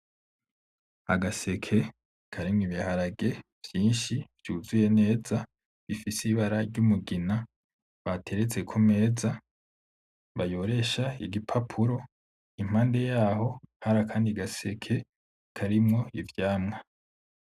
Agaseke karimwo ibiharage vyinshi vyuzuye neza bifise ibara ry'umugina bateretse ku meza bayoresha igipapuro. Impande y'aho hari akandi gaseke karimwo ivyamwa.